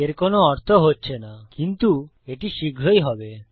এর কোনো অর্থ হচ্ছে না কিন্তু এটি শীঘ্রই হবে